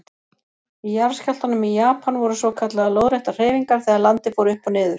Í jarðskjálftanum í Japan voru svokallaðar lóðréttar hreyfingar þegar landið fór upp og niður.